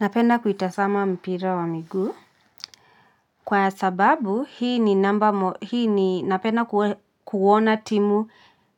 Napenda kuitazama mpira ya miguu kwa sababu hii ni namba hii ni napenda kuona timu